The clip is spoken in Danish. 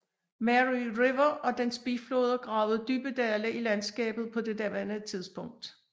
Mary River og dens bifloder gravede dybe dale i landskabet på det daværende tidspunkt